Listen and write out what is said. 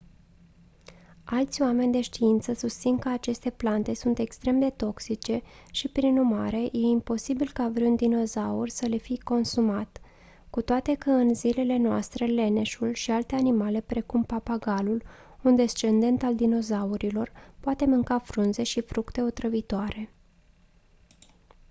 alți oameni de știință susțin că aceste plante sunt extrem de toxice și prin urmare e improbabil ca vreun dinozaur să le fi consumat cu toate că în zilele noastre leneșul și alte animale precum papagalul un descendent al dinozaurilor pot mânca frunze și fructe otrăvitoare